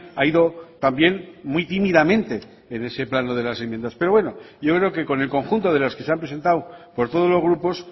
ha ido también muy tímidamente en ese plano de las enmiendas pero bueno pero yo creo que con el conjunto de las que se han presentado por todos los grupos